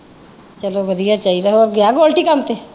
ਚਲੋ ਵਧੀਆ ਚਾਹੀਦਾ ਹੋਰ ਗਿਆ ਗੋਲਟੀ ਕੰਮ ਤੇ?